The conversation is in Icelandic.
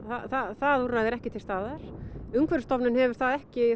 það úrræði er ekki til staðar umhverfisstofnun hefur ekki